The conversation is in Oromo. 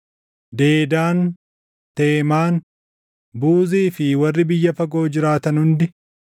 Dedaan, Teemaan, Buuzii fi warri biyya fagoo jiraatan hundi,